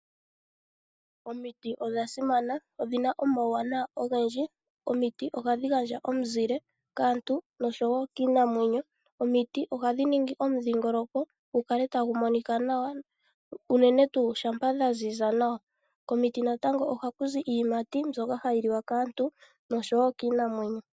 Omiti odha simana, odhi na omauwanawa ogendji. Omiti ohadhi gandja omuzile kaantu noshowo kiinamwenyo. Omiti ohadhi ningi omudhingoloko gu kale tagu mnika nawa, unene tuu shampa dha ziza nawa. Komiti ohaku zi iiyimati mbyoka hayi liwa kaantu noshowo kiinamwenyo.